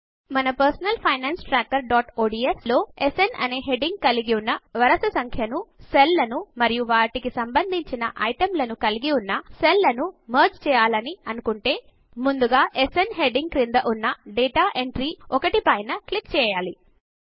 మన personal finance trackerఒడిఎస్ లో స్న్ అనే హెడింగ్ కలిగి ఉన్న వరుస సంఖ్యను కకలిగిన సెల్ లను మరియు వాటికి సంబంధించిన ఐటమ్ లను కలిగి ఉన్న సెల్ లను మెర్జ్ చేయాలి అని అనుకుంటే ముందుగా స్న్ హెడింగ్ క్రింద ఉన్న డేటా ఎంట్రీ 1 పైన క్లిక్ చేయాలి